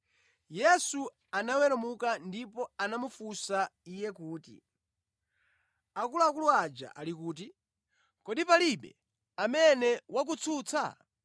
Yesu anaweramuka ndipo anamufunsa iye kuti, “Akuluakulu aja ali kuti? Kodi palibe amene wakutsutsa?”